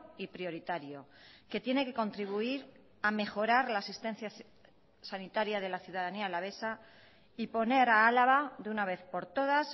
y prioritario que tiene que contribuir a mejorar la asistencia sanitaria de la ciudadanía alavesa y poner a álava de una vez por todas